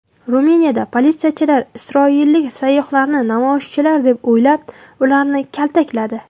Ruminiyada politsiyachilar isroillik sayyohlarni namoyishchilar deb o‘ylab, ularni kaltakladi .